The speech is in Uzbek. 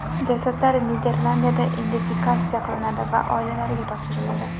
Jasadlar Niderlandiyada identifikatsiya qilinadi va oilalariga topshiriladi.